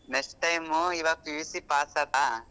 Next time ಈವಾಗ PUC pass ಅಲ್ಲ.